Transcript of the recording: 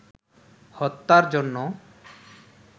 হত্যার জন্য